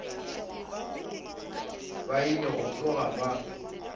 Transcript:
ba ile go tsoga ba